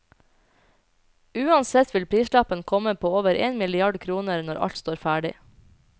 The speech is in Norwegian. Uansett vil prislappen komme på over én milliard kroner når alt står ferdig.